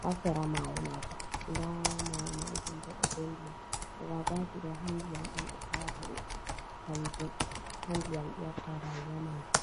haa sera maayo maajum, da maayo maajum bo ɗo be Ndiyam. Agwagwaji ɗo haa ndiyam on ɓe tawata ɗum. Kanji haa ndiyam ɗi watta rayuwa maaji.